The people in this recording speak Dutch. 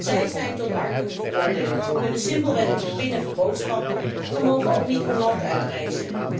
Zij zijn tot armoede veroordeeld, kunnen simpelweg niet pinnen voor boodschappen en mogen ook hun land niet uitreizen.